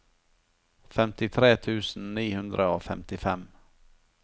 femtitre tusen ni hundre og femtifem